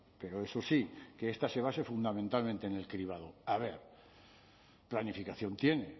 pero eso sí que esta se base fundamentalmente en el cribado a ver planificación tiene